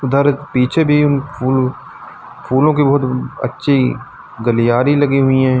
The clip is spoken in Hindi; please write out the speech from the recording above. इधर पीछे भी फूल फूलों की बहुत अच्छी गलियारी लगी हुई हैं।